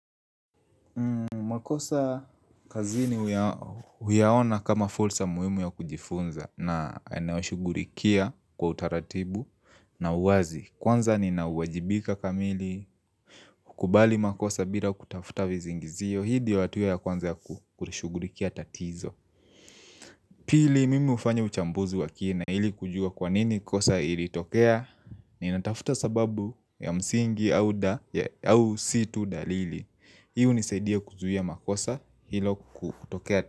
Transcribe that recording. Makosa kazini huyaona kama fulsa muhimu ya kujifunza na naushugulikia kwa utaratibu na uwazi Kwanza ni nauwajibika kamili kubali makosa bila kutafuta vizingizio Hii ndio hatua ya kwanza kushughulikia tatizo Pili mimi ufanya uchambuzi wa kina ili kujua kwanini kosa ili tokea ni natafuta sababu ya msingi au si tu dalili Hii hunisaidia kuzuia makosa hilo kutokea.